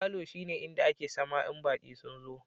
Falo shine inda ake sama in baki sun zo.